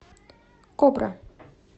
кобра